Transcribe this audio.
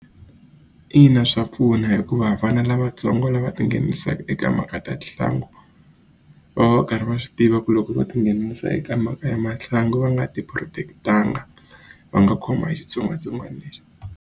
Ina swa pfuna hikuva vana lavatsongo lava tinghenisaku eka mhaka ta va va va karhi va swi tiva ku loko vo tinghenisa eka mhaka ya va nga ti protect-anga va nga khomiwa hi xitsongwatsongwana lexi.